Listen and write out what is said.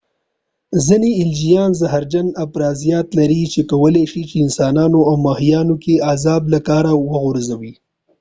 ځینې الجیان زهرجن افرازات لري چې کولی شي په انسانانو او ماهیانو کې اعصاب له کاره وغورځي